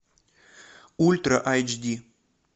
ультра айч ди